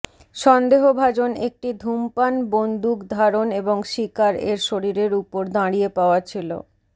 সন্দেহভাজন একটি ধূমপান বন্দুক ধারণ এবং শিকার এর শরীরের উপর দাঁড়িয়ে পাওয়া ছিল